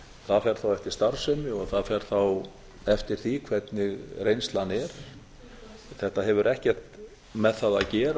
það fer þá eftir starfsemi og það fer þá eftir því hvernig reynslan er þetta hefur ekkert með það að gera